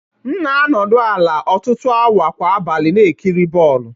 M na-anọdụ ala ọtụtụ awa kwa abalị na-ekiri bọl